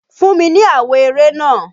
Fún mi ni àwo eré náà!